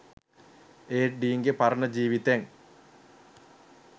ඒත් ඩීන්ගෙ පරණ ජීවිතෙන්